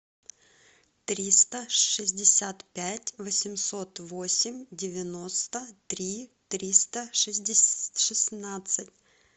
триста шестьдесят пять восемьсот восемь девяносто три триста шестнадцать